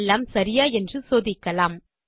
எல்லாம் சரியா என்று சோதிக்கலாம்